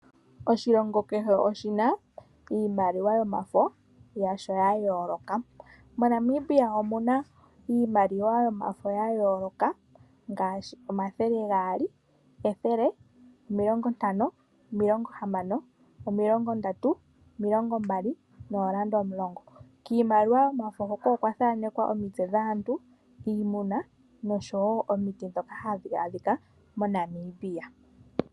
Oshilongo kehe oshina iimaliwa yomafo yasho ya yoloka, moNamibia omuna iimaliwa yomafo gayooloka ngaashi omathele gaali, ethele, omilongo ntano, omilongo hamano, omilongo ndatu, omilongo mbali, oondola omulongo, kiimaliwa yomafo hoka okwathaanekwa omitse dhaantu, dhiimuna nosho woo omiti ndhoka hadhaadhika moNamibia.